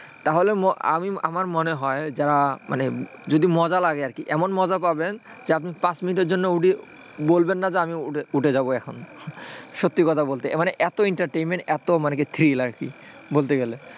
তাহলে আমার মনে হয় যারা মানে, যদি মজা লাগে এমন মজা পাবেন তাহলে আপনি পাঁচ মিনিটের জন্য বলবেন না যে আপনি উঠে যাব এখন সত্যি কথা বলতে এত entertainment এত thrill বলতে গেলে,